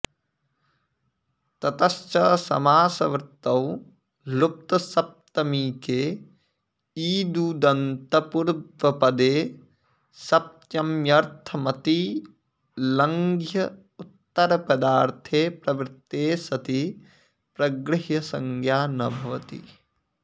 ततश्च समासवृत्तौ लुप्तसप्तमीके ईदूदन्तपूर्वपदे सप्तम्यर्थमतिलङ्घ्य उत्तरपदार्थे प्रवृत्ते सति प्रगृह्रसंज्ञा न भवति